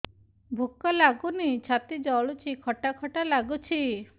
ଭୁକ ଲାଗୁନି ଛାତି ଜଳୁଛି ଖଟା ଖଟା ଲାଗୁଛି